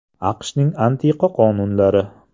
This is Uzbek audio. AQShning antiqa qonunlari.